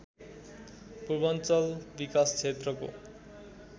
पूर्वाञ्चल विकास क्षेत्रको